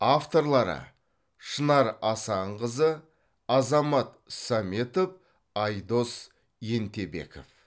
авторлары шынар асанқызы азамат саметов айдос ентебеков